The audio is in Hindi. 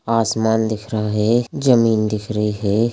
आसमान दिख रहा है जमीन दिख रही है।